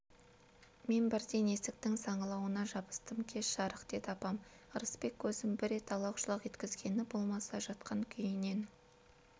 мен бірден есіктің саңылауына жабыстым кеш жарық деді апам ырысбек көзін бір рет алақ-жұлақ еткізгені болмаса жатқан күйінен